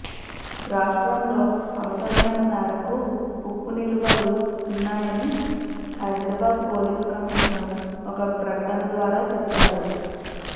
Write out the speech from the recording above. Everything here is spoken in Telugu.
రాష్ట్రంలో అవసరమైన మేరకు ఉప్పు నిలువలు ఉన్నాయని హైదరాబాద్ పోలీస్ కమిషనర్ ఒక ప్రకటన ద్వారా చెప్పారు